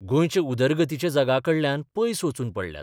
गोंयचे उदरगतीच्या जगाकडल्यान पयस वचून पडल्यात.